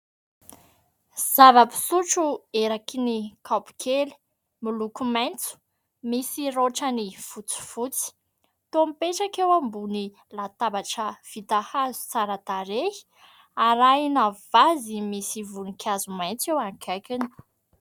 Zava-pisotro eraky ny kaopy kely miloko maitso misy raotrany fotsifotsy, toa mipetraka eo ambony latabatra vita hazo tsara tarehy, arahina vazy misy voninkazo maitso eo akaikiny.